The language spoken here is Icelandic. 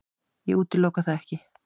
Ég útiloka það ekki.